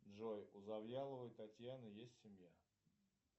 джой у завьяловой татьяны есть семья